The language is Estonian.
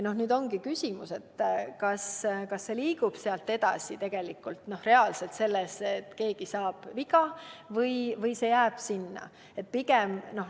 Nüüd ongi küsimus, kas sealt liigutakse edasi ja keegi saab reaalselt viga või jäädakse sinna pidama.